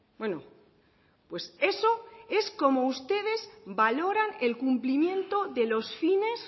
bueno pues eso es como ustedes valoran el cumplimiento de los fines